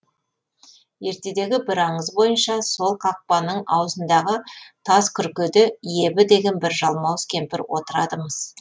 ертедегі бір аңыз бойынша сол қақпаның аузындағы тас күркеде ебі деген бір жалмауыз кемпір отырады мыс